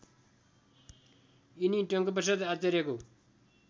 यिनी टङ्कप्रसाद आचार्यको